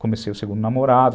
Comecei o segundo namorado.